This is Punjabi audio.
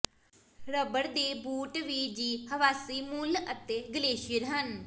ਰਬੜ ਦੇ ਬੂਟ ਵੀ ਜ਼ੀ ਹਵਾਸੀ ਮੂਲ ਅਤੇ ਗਲੇਸ਼ੀਅਰ ਹਨ